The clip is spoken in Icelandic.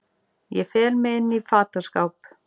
Ég fel mig inní fataskáp.